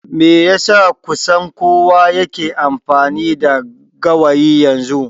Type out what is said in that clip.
Me yasa kusan kowa yake amfani da gawayi yanzu?